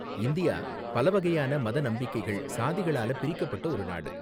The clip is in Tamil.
இந்தியா, பல வகையான மத நம்பிக்கைகள், சாதிகளால பிரிக்கப்பட்ட ஒரு நாடு.